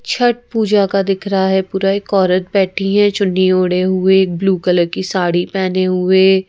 छठ पूजा का दिख रहा है पूरा एक औरत बैठी है चुन्नी ओढ़े हुए एक ब्लू कलर की साड़ी पहने हुए।